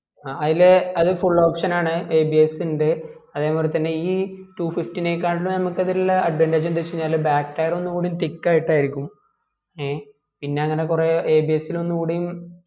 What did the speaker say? ആ അയിലെ അത് full option ആണേ abs ഇണ്ട് അതെ പോലത്തനെ ഈ two fifty നെ കാളിയും നമക്ക് അതിൽ ഉള്ള advantage എന്തെന്ന് വെച്ചാൽ back tier ഒന്നുകൂടി thick ആയിട്ട് ആയിരിക്കും എ പിന്നെ അങ്ങനെ കൊറേ abs ൽ ഒന്നുകൂടിയും